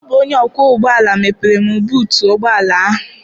Ọ bụ onye ọkwọ ụgbọala mepere m buutu ụgbọala ahụ.